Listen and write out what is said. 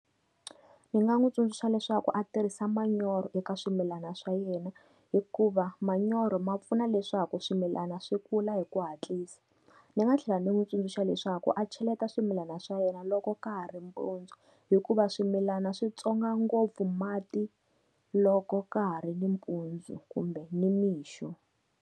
Ni nga n'wi tsundzuxa leswaku a tirhisa manyoro eka swimilana swa yena, hikuva manyoro ma pfuna leswaku swimilana swi kula hi ku hatlisa. Ni nga tlhela ndzi n'wi tsundzuxa leswaku a cheleta swimilana swa yena loko ka ha ri mpundzu, hikuva swimilana swi tsonga ngopfu mati loko ka ha ri ni mpundzu kumbe ni nimixo.